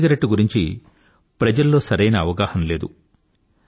e-cigarette గురించి ప్రజల్లో సరైన అవగాహన లేదు